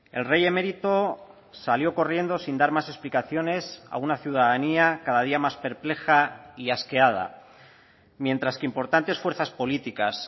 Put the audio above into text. el rey emérito salió corriendo sin dar más explicaciones a una ciudadanía cada día más perpleja y asqueada mientras que importantes fuerzas políticas